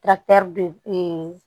de ee